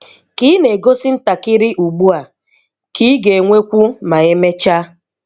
Ka ị na-egosi ntakịrị ugbu a, ka ị ga-enwekwu ma emechaa.